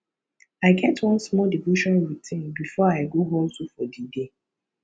i get one small devotion routine before i go hustle for di day